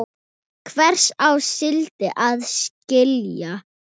Hvers á síldin að gjalda?